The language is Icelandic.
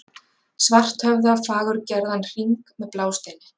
Svarthöfða fagurgerðan hring með blásteini.